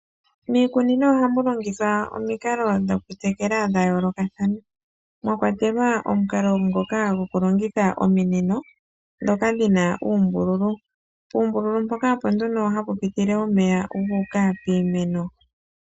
Miikunino oha mu longithwa omikalo dho kutekulwa dha yooloka mwakwatelwa omukalo ngoka go ku longitha ominino ndhoka dhina uumbululu. Puumbululu mpoka opo nee hapu pitile omeya gu uka piimeno.